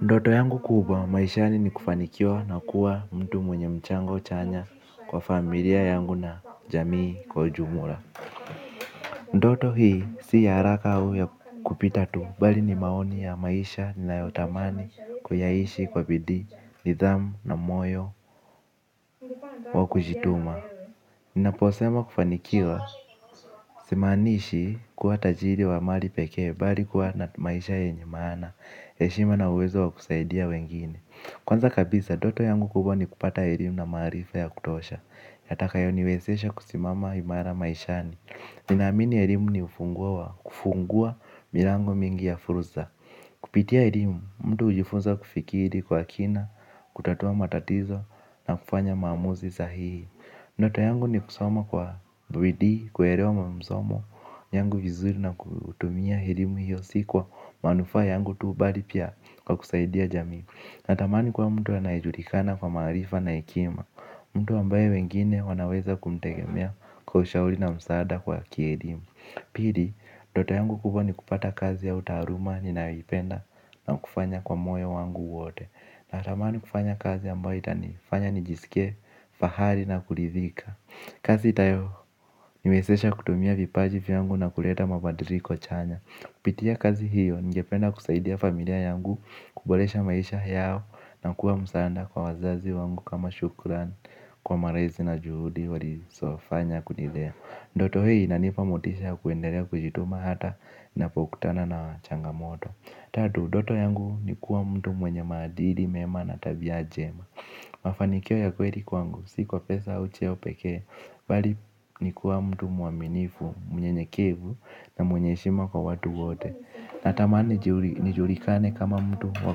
Ndoto yangu kubwa maishani ni kufanikiwa na kuwa mtu mwenye mchango chanya kwa familia yangu na jamii kwa ujumula ndoto hii si ya haraka au ya kupita tu bali ni maoni ya maisha ninayotamani kuyaishi kwa bidii nidhamu na moyo wa kujituma. Ninaposema kufanikiwa simaanishi kuwa tajiri wa mali pekee bali kuwa na maisha yenye maana. Eshima na uwezo wa kusaidia wengine. Kwanza kabisa doto yangu kubwa ni kupata elimu na maarifa ya kutosha. Yatakayo niwezesha kusimama imara maishani. Ninaamini elimu ni ufunguo wa kufungua milango mingi ya furuza. Kupitia elimu mtu ujifunza kufikiri kwa kina, kutatua matatizo na kufanya maamuzi sahihi. Ndoto yangu ni kusoma kwa bidii kuelewa msomo yangu vizuri na kutumia helimu hiyo si kwa manufaa yangu tu bali pia kwa kusaidia jamii. Natamani kuwa mtu anaejulikana kwa maarifa na ekima. Mtu ambaye wengine wanaweza kumtegemea kwa ushauri na msaada kwa kielimu. Pili, ndoto yangu kubwa ni kupata kazi ya utaaluma ninayo ipenda na kufanya kwa moyo wangu wote. Natamani kufanya kazi ambayo itani fanya nijisike fahali na kulidhika. Kazi itayo niwesesha kutumia vipaji vyangu na kuleta mabadiriko chanya. Kupitia kazi hiyo ningependa kusaidia familia yangu kubolesha maisha yao na kuwa msaanda kwa wazazi wangu. Kama shukran kwa marazi na juhudi wali sofanya kutlnilea ndoto hii inanipa motisha ya kuendelea kujituma hata napokutana na changamoto. Tatu, doto yangu ni kuwa mtu mwenye maadili mema na tabia jema. Mafanikio ya kweli kwangu, si kwa pesa au cheo pekee bali, ni kuwa mtu muaminifu mnyenyekevu na mwenye eshima kwa watu wote. Natamaani, nijulikane kama mtu wa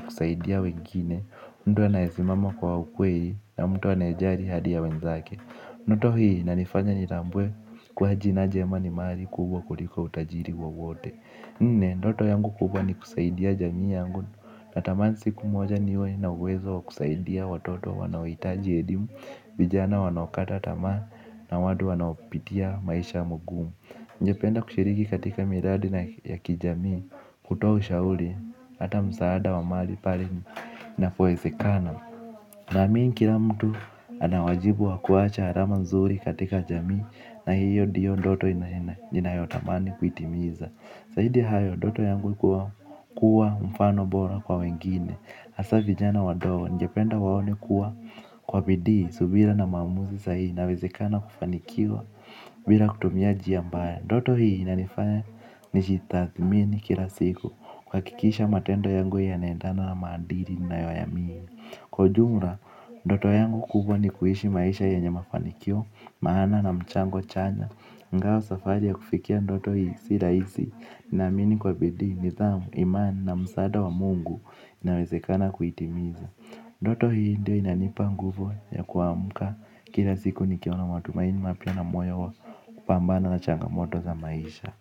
kusaidia wengine. Mtu anayesimama kwa ukweli na mtu anaejari hadi ya wenzake. Ndoto hii, inanifanya nitambue kuwa jina jema ni mali kubwa kuliko utajiri wowote. Ndoto yangu kubwa ni kusaidia jamii yangu. Natamani siku moja niwe na uwezo wa kusaidia watoto wanaoitaji elimu vijana wanaokata tamas na watu wanaopitia maisha magumu. Ngependa kushiriki katika miradi na ya kijamii. Kutoa ushauli ata msaada wa mali pali inapoesekana. Naamini kila mtu ana wajibu wakuacha harama nzuri katika jamii. Na hiyo dio ndoto ninayotamani kuitimiza. Saidi hayo, ndoto yangu kuwa mfano bora kwa wengine hasaa vijana wadogo, ningependa waone kuwa kwa bidii subira na maamuzi sahihi inawezekana kufanikiwa. Bila kutumia jia mbaya ndoto hii inanifanya nijitathmini kila siku kuhakikisha matendo yangu yanaendana na maadili nayo yaamini. Kwa ujumla, ndoto yangu kubwa ni kuishi maisha yanye mafanikio maana na mchango chanya. Ngao safari ya kufikia ndoto hii si raisi. Naamini kwa bidii nithamu imani na msaada wa Mungu inawezekana kuitimiza ndoto hii ndio inanipa nguvu ya kuamka. Kila siku nikiwa na matumaini mapya na moyo wa kupambana na changamoto za maisha.